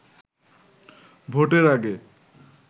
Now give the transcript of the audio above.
ভোটের আগে